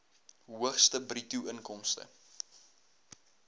hoogste bruto inkomste